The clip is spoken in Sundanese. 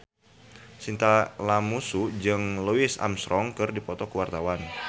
Chintya Lamusu jeung Louis Armstrong keur dipoto ku wartawan